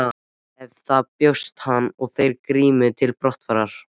Eftir það bjóst hann og þeir Grímur til brottfarar.